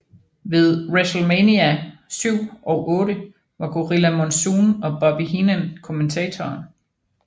Ved WrestleMania VII og VIII var Gorilla Monsoon og Bobby Heenan kommentatorer